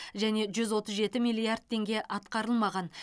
және жүз отыз жеті миллиард теңге атқарылмаған